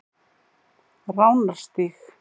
Ránarstíg